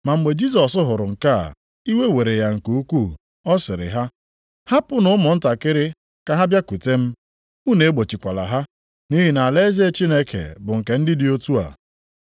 Ma mgbe Jisọs hụrụ nke a, iwe were ya nke ukwuu, ọ sịrị ha, “Hapụnụ ụmụntakịrị ka ha bịakwute m. Unu egbochikwala ha. Nʼihi na alaeze Chineke bụ nke ndị dị otu a.